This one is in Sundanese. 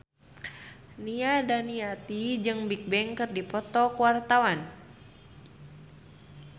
Nia Daniati jeung Bigbang keur dipoto ku wartawan